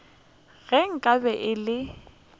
ge nka be e le